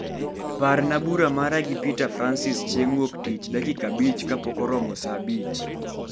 parna bura mara gi Peter Francis chieng wuok tich dakika abich kapok oromo saa abich